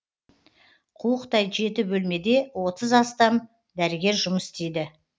қуықтай жеті бөлмеде отыз астам дәрігер жұмыс істейді